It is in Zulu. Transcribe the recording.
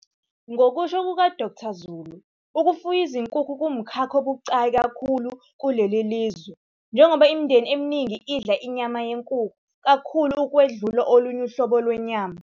Ngokusho kuka-Dkt Zulu, ukufuya izinkukhu kungumkhakha obucayi kakhulu kuleli lizwe, njengoba imindeni eminingi idla inyama yenkukhu kakhulu ukwedlula olunye uhlobo lwenyama.